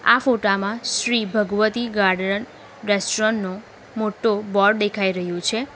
આ ફોટા માં શ્રી ભગવતી ગાર્ડરન રેસ્ટોરન્ટ નુ મોટુ બોર્ડ દેખાઈ રહયું છે.